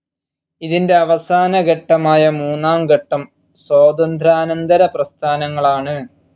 ഇതിൻ്റെ അവസാന ഘട്ടമായ മൂന്നാം ഘട്ടം സ്വാതന്ത്ര്യാനന്തര പ്രസ്ഥാനങ്ങളാണ്.